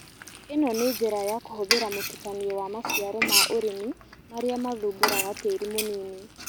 ĩno nĩ njĩra ya kũhũthĩra mũtukanio wa maciaro ma ũrĩmi marĩa mathumburaga tĩri mũnini